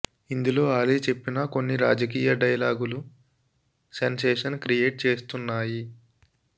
ఇందులో అలీ చెప్పిన కొన్ని రాజకీయ డైలాగులు సెన్సేషన్ క్రియేట్ చేస్తున్నాయి